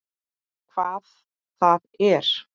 Hvað það er?